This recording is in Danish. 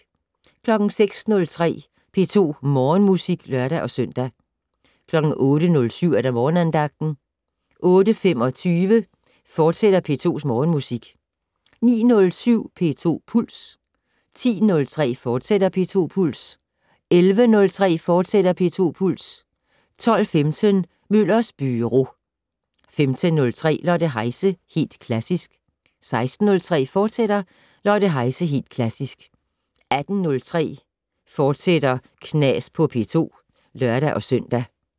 06:03: P2 Morgenmusik (lør-søn) 08:07: Morgenandagten 08:25: P2 Morgenmusik, fortsat 09:07: P2 Puls 10:03: P2 Puls, fortsat 11:03: P2 Puls, fortsat 12:15: Møllers Byro 15:03: Lotte Heise - Helt Klassisk 16:03: Lotte Heise - Helt Klassisk, fortsat 18:03: Knas på P2, fortsat (lør-søn)